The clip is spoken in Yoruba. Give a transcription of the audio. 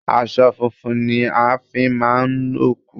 Aṣọ funfun ni a fi máa ń òkú